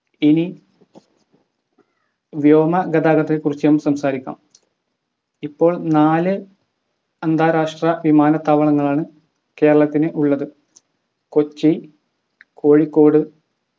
ഇനി വ്യോമ ഗതാഗതത്തെ കുറിച്ച് നമ്മക്ക് സംസാരിക്കാം ഇപ്പോൾ നാല് അന്താരാഷ്ട്ര വിമാനത്താവളങ്ങളാണ് കേരളത്തിന് ഉള്ളത് കൊച്ചി കോഴിക്കോട്